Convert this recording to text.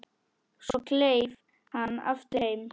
Svo kleif hann aftur heim.